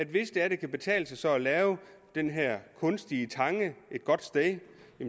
hvis det kan betale sig at lave den her kunstige tange et godt sted